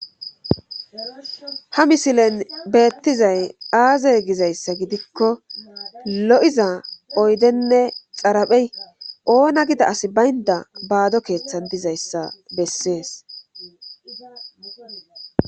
ha misilen beettizay aaze gizayssa gidikko lo'iza oydenne xaraphey oona gida as baynda baado keeththan dizayssa bessees